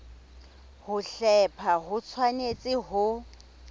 ho hlepha ho tshwanetse ho